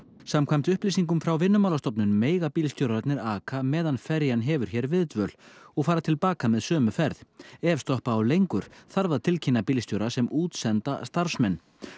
samkvæmt upplýsingum frá Vinnumálastofnun mega bílstjórarnir aka meðan ferjan hefur hér viðdvöl og fara til baka með sömu ferð ef stoppa á lengur þarf að tilkynna bílstjóra sem útsenda starfsmenn